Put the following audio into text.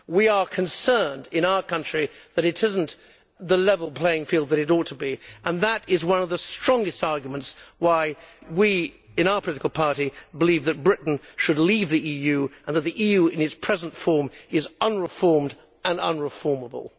We are concerned in our country that it is not the level playing field that it ought to be, and that is one of the strongest arguments why we in our political party believe that Britain should leave the EU, and that the EU in its present form is unreformed and unreformable.